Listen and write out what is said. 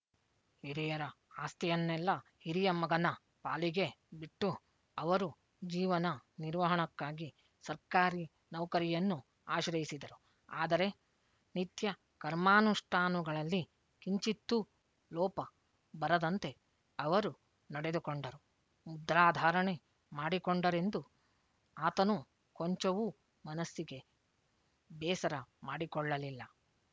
ಹಿರಿಯರ ಆಸ್ತಿಯನ್ನೆಲ್ಲ ಹಿರಿಯ ಮಗನ ಪಾಲಿಗೆ ಬಿಟ್ಟು ಅವರು ಜೀವನ ನಿರ್ವಹಣಕ್ಕಾಗಿ ಸರ್ಕಾರಿ ನೌಕರಿಯನ್ನು ಆಶ್ರಯಿಸಿದರು ಆದರೆ ನಿತ್ಯ ಕರ್ಮಾನುಷ್ಠಾನುಗಳಲ್ಲಿ ಕಿಂಚಿತ್ತೂ ಲೋಪ ಬರದಂತೆ ಅವರು ನಡೆದುಕೊಂಡರು ಮುದ್ರಾಧಾರಣೆ ಮಾಡಿಕೊಂಡರೆಂದು ಆತನು ಕೊಂಚವೂ ಮನಸ್ಸಿಗೆ ಬೇಸರ ಮಾಡಿಕೊಳ್ಳಲಿಲ್ಲ